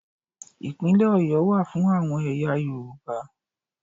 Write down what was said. Ìpínlẹ̀ Ọ̀yọ́ wà fún àwọn ẹ̀yà Yorùbá.